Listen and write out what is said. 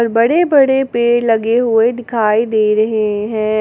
बड़े बड़े पेड़ लगे हुए दिखाई दे रहे हैं।